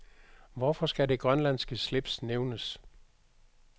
Hvorfor skal det grønlandske slips nævnes?